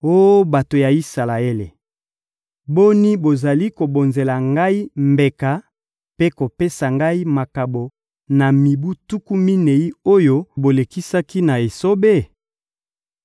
Oh bato ya Isalaele, boni, bozalaki kobonzela Ngai mbeka mpe kopesa Ngai makabo na mibu tuku minei oyo bolekisaki na esobe?